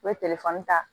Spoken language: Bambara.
U bɛ telefɔni ta